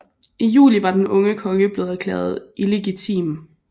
I juli var den unge konge blevet erklæret illegitim